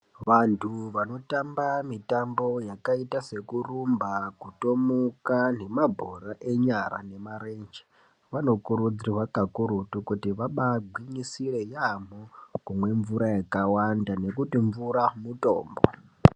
Vantu vanotamba mitambo yakaita sekurumba kutomuka nemabhora enyara nemarenje vanokurudzirwa kakurutu kuti vabaa gwinyisire yaamho kumwe mvura yakawanda ngekuti mvura mutombo.